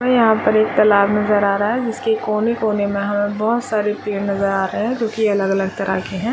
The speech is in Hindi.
और यहाँ पे एक तालाब नज़र आ रहा है जिसके कोने -कोने में हम बहुत सारे पेड़ नज़र आ रहे है जो की अलग-अलग तरह के है।